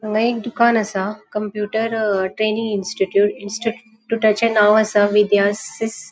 हांगा एक दुकान असा कंप्युटर अ ट्रैनिंग इंस्टिट्यूट इंस्टिट्यूटाचे नाव असा विदयासिस.